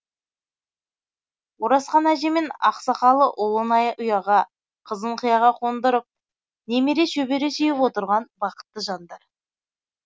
оразхан әже мен ақсақалы ұлын ұяға қызын қиыға қондырып немере шөбере сүйіп отырған бақытты жандар